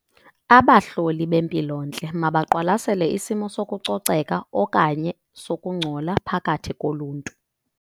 Abahloli bempilontle mabaqwalasele isimo sokucoceka okanye sokungcola phakathi koluntu.